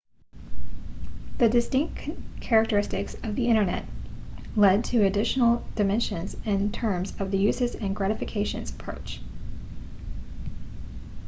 the distinct characteristics of the internet lead to additional dimensions in terms of the uses and gratifications approach